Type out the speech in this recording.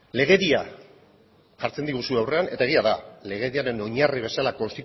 legedia jartzen diguzue aurrean eta egia da legediaren oinarri bezala